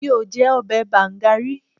Mi ò jẹ ọbẹ̀ bàǹga rí.